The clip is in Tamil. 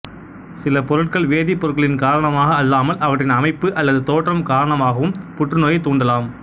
சில பொருட்கள் வேதிப் பொருட்களின் காரணமாக அல்லாமல் அவற்றின் அமைப்பு அல்லது தோற்றம் காரணமாகவும் புற்றுநோயைத் தூண்டலாம்